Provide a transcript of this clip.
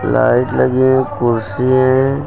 Light लगी है कुर्सी है।